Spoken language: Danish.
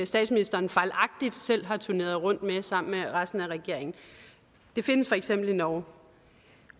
statsministeren fejlagtigt selv har turneret rundt med sammen med resten af regeringen det findes for eksempel i norge